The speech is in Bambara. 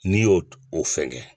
N'i y'o o fɛngɛ.